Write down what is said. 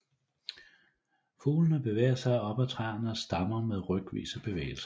Fuglene bevæger sig op ad træernes stammer med rykvise bevægelser